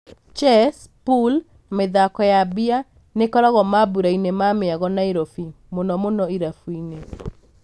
Chess, Pool na mĩthako ya mbia nĩkoragwo mambũrainĩ ma mĩago Nairobi, muno muno irabuinĩ.